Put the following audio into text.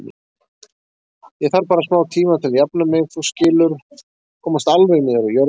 Ég þarf bara smátíma til að jafna mig, þú skilur, komast alveg niður á jörðina.